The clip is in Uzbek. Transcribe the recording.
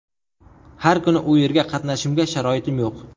Har kuni u yerga qatnashimga sharoitim yo‘q.